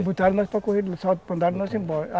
Botaram nós para correr, mandaram nós ir embora.